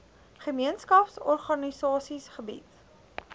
gemeenskaps organisasies gebied